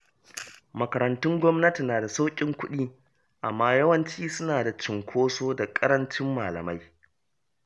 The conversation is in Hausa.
Makarantun gwamnati na da sauƙin kuɗi, amma yawanci suna da cunkoso da ƙarancin malamai.